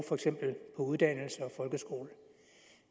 for eksempel uddannelse og folkeskole